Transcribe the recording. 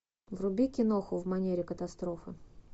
вруби киноху в манере катастрофа